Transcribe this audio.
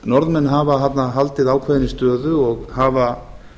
norðmenn hafa þarna haldið ákveðinni stöðu og hafa